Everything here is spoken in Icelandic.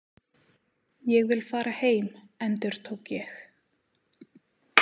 Ég vil fara heim, endurtók ég.